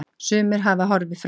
Sumir hafa horfið frá.